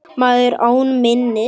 Maður án minnis.